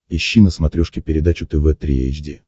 ищи на смотрешке передачу тв три эйч ди